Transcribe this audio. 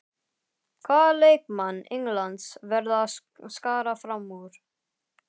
Hvaða leikmann Englands verða að skara fram úr?